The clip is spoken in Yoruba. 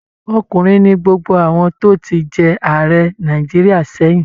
Ọkùnrin ni gbogbo àwọn tó ti jẹ Ààrẹ Nàìjíríà sẹ́yìn